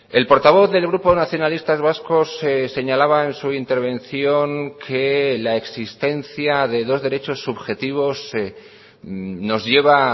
el portavoz del grupo nacionalistas vascos señalaba en su intervención que la existencia de dos derechos subjetivos nos lleva